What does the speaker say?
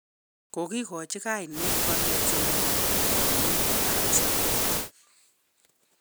Kogigachi kainet katerterindet nebo Nobel ab Hesabuk